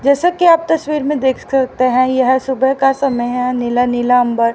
जैसा कि आप तस्वीर में देख सकते हैं यह सुबह का समय है नीला नील अंबर।